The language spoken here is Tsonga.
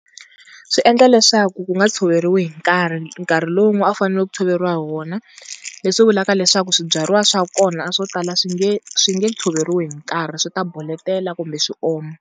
Swi endla leswaku ku nga tshoveriwi hi nkarhi, nkarhi lowu a ku fanele ku tshoveriwa hi wona leswi vulaka leswaku swibyariwa swa kona, swo tala swi nge swi nge tshoveriwi hi nkarhi swi ta boletela kumbe swi oma.